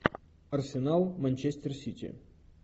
арсенал манчестер сити